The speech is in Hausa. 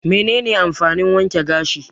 Me ne ne amfanin wanke gashi?